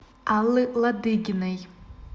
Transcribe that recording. аллы ладыгиной